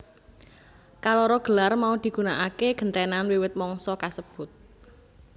Kaloro gelar mau digunakaké gentènan wiwit mangsa kasebut